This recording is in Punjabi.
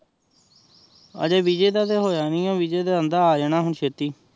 ਆਜੇ ਵਿਸੇ ਦਾ ਤੇਹ ਹੋਯਾ ਨਹੀ ਆਏ ਵਿਸੇ ਦਾ ਬੰਦਾ ਆਜ੍ਨਾ ਹੁਣ ਚਿਤਿ